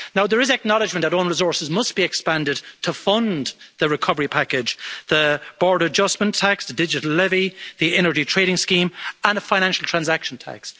There is acknowledgment that own resources must be expanded to fund the recovery package the border adjustment tax, digital levy, the energy trading scheme and a financial transaction tax.